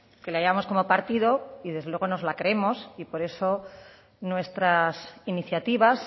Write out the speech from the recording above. que la llevamos como partido y desde luego nos la creemos y por eso nuestras iniciativas